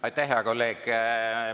Aitäh, hea kolleeg!